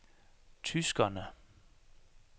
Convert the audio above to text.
tyskerne